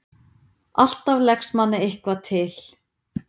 Alltaf leggst manni eitthvað til.